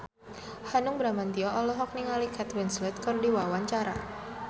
Hanung Bramantyo olohok ningali Kate Winslet keur diwawancara